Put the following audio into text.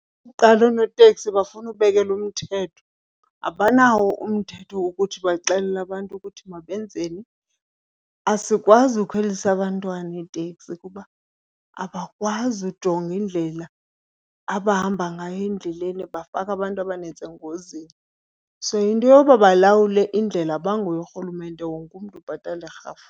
Okokuqala oonoteksi bafuna ubekelwa umthetho. Abanawo umthetho wokuthi baxelele abantu ukuthi mabenzeni. Asikwazi ukhwelisa abantwana iiteksi kuba abakwazi ujonga indlela abahamba ngayo endleleni, bafaka abantu abanintsi engozini. So into yoba balawule indlela abanguye urhulumente, wonke umntu ubhatala irhafu.